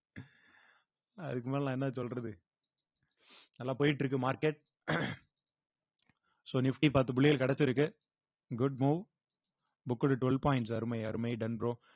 அதுக்கு மேல நான் என்ன சொல்றது நல்லா போயிட்டு இருக்கு market so nifty பத்து புள்ளிகள் கிடைச்சிருக்கு good move booked twelve points அருமை அருமை done bro